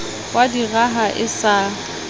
wa di raha e sa